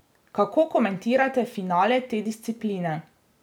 Kako komentirate finale te discipline?